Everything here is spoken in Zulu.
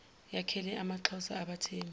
yakhele amaxhosa abathembu